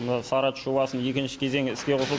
мына сары ат жобасының екінші кезеңі іске қосылды